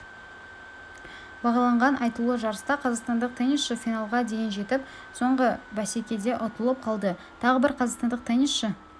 бағаланған айтулы жарыста қазақстандық теннисші финалға дейін жетіп соңғы бәсекедеұтылып қалды тағы бір қазақстандық теннисші